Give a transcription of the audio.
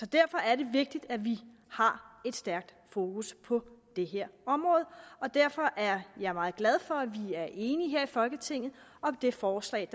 derfor er det vigtigt at vi har et stærkt fokus på det her område og derfor er jeg meget glad for at vi er enige her i folketinget om det forslag